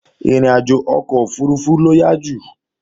Ìrìnàjò ọkọ̀ òfurufú ló yá jù